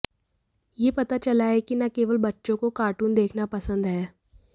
यह पता चला है कि न केवल बच्चों को कार्टून देखना पसंद है